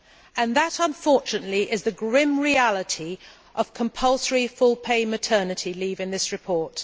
And that, unfortunately, is the grim reality of compulsory full pay maternity leave in this report.